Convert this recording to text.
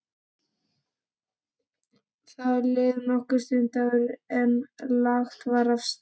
Það leið nokkur stund áður en lagt var af stað.